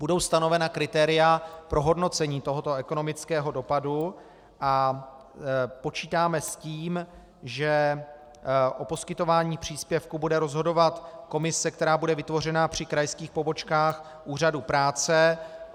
Budou stanovena kritéria pro hodnocení tohoto ekonomického dopadu a počítáme s tím, že o poskytování příspěvku bude rozhodovat komise, která bude vytvořena při krajských pobočkách Úřadu práce.